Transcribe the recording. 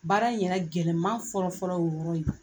Baara in yɛrɛ gɛlɛman fɔlɔ-fɔlɔ o yɔrɔ ye